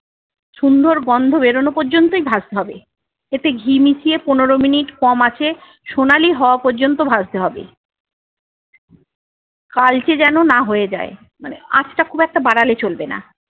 সুন্দর গন্ধ বেরোনো পর্যন্তই ভাজতে হবে। এতে ঘি মিশিয়ে পনেরো মিনিট কম আঁচে সোনালী হওয়া পর্যন্ত ভাজতে হবে। কালচে যেন না হয়ে যায়, মানে আঁচটা খুব একটা বাড়ালে চলবে না।